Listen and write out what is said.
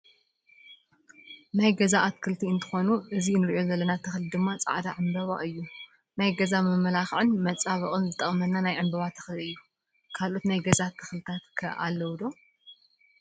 ናይ ገዛ ኣትክልቲ እንትኮኑ እዚ እንሪኦ ዘለና ተክሊ ድማ ፃዕዳ ዕበባ እዩ። ናይ ገዛ መመላክዕን መፃቢቅን ዝጠቅመና ናይ ዕንበባ ተክሊ እዩ። ካልኦት ናይ ገዛ ትክልታ ከ ኣለው ዶ ?